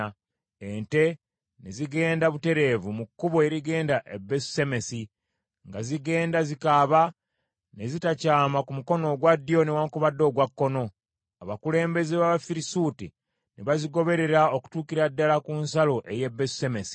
Ente ne zigenda butereevu mu kkubo erigenda e Besusemesi, nga zigenda zikaaba, ne zitakyama ku mukono ogwa ddyo newaakubadde ogwa kkono. Abakulembeze b’Abafirisuuti ne bazigoberera okutuukira ddala ku nsalo ey’e Besusemesi.